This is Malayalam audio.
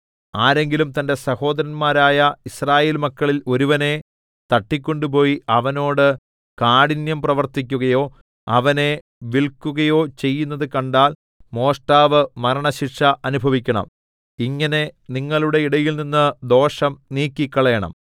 ആരെങ്കിലും തന്റെ സഹോദരന്മാരായ യിസ്രായേൽ മക്കളിൽ ഒരുവനെ തട്ടിക്കൊണ്ടുപോയി അവനോട് കാഠിന്യം പ്രവർത്തിക്കുകയോ അവനെ വില്ക്കുകയോ ചെയ്യുന്നതു കണ്ടാൽ മോഷ്ടാവ് മരണശിക്ഷ അനുഭവിക്കണം ഇങ്ങനെ നിങ്ങളുടെ ഇടയിൽനിന്ന് ദോഷം നീക്കിക്കളയണം